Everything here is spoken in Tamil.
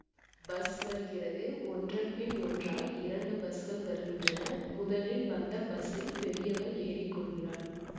பஸ் வருகிறது ஒன்றன் பின் ஒன்றாய் இரண்டு பஸ்கள் வருகின்றன முதலில் வந்த பஸ்ஸில் பெரியவள் ஏறி கொள்கிறாள்